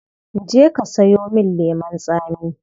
Je ka sayo min lemon tsami.